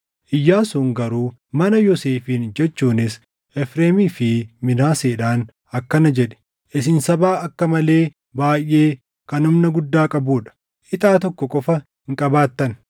Iyyaasuun garuu mana Yoosefiin jechuunis Efreemii fi Minaaseedhaan akkana jedhe; “Isin saba akka malee baayʼee kan humna guddaa qabuu dha. Ixaa tokko qofa hin qabaattan.